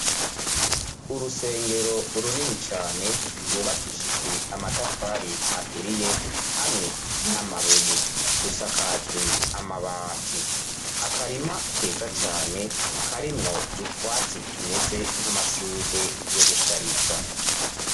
Urusengero runini cane rwubakishijwe amatafari aturiye hamwe n'amabuye rusakajwe amabati, akarima keza cane karimwo utwatsi tumeze n'amashurwe yo gushariza.